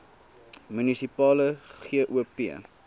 munisipale gop